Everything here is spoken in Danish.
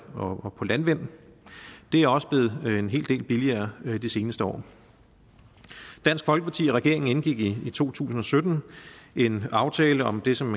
og landvind det er også blevet en hel del billigere det seneste år dansk folkeparti og regeringen indgik i to tusind og sytten en aftale om det som